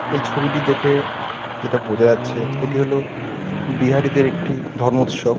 এই ছবিটি দেখে যেটা বোঝা যাচ্ছে এটি হলো বিহারীদের একটি ধর্ম উৎসব